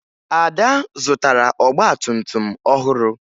Ada zụtara ọgbatumtum ọhụrụ